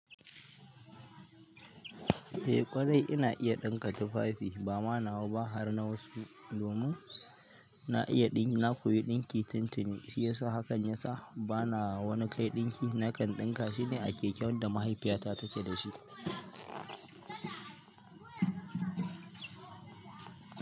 Eh ƙwarai ina iya ɗinka tufafi bama nawa ba har na wasu. Domin na iya ɗinki, na koyi ɗinki tun tuni shiyasa hakan ya sa bana wani kai ɗinki nakan ɗinka shine a keken da mahaifiyata take da shi.